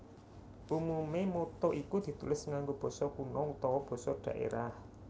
Umume motto iku ditulis nganggo basa kuna utawa basa dhaerah